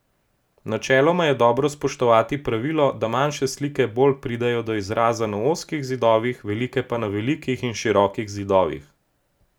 Načeloma je dobro spoštovati pravilo, da manjše slike bolj pridejo do izraza na ozkih zidovih, velike pa na velikih in širokih zidovih.